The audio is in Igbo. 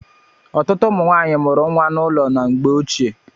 Ọtụtụ ụmụ nwanyị mụrụ nwa n'ụlọ na mgbé ochie.